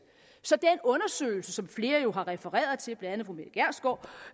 så er den undersøgelse som flere har refereret til blandt andet fru mette gjerskov